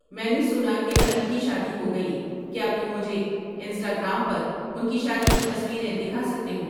میں نے سنا کہ علی کی شادی ہوگئی کیا تم مجھے انسٹاگرام پر ان کی شادی کی تصویریں دکھا سکتے ہو؟